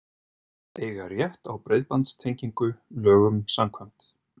Eiga rétt á breiðbandstengingu lögum samkvæmt